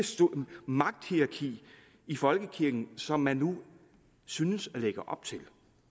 magthierarki i folkekirken som man nu synes at lægge op til